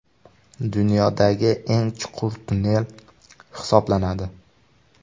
Dunyodagi eng chuqur tunnel hisoblanadi.